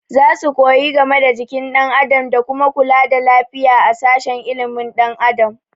Za su koyi game da jikin ɗan adam da kuma kula da lafiya a sashen ilimin ɗan adam